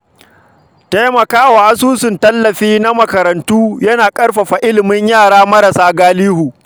Taimaka wa asusun tallafi na makarantu yana ƙarfafa ilimin yara marasa galihu.